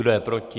Kdo je proti?